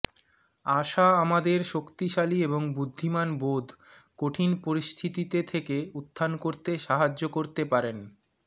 আশা আমাদের শক্তিশালি এবং বুদ্ধিমান বোধ কঠিন পরিস্থিতিতে থেকে উত্থান করতে সাহায্য করতে পারেন